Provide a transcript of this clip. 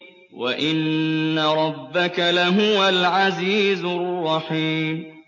وَإِنَّ رَبَّكَ لَهُوَ الْعَزِيزُ الرَّحِيمُ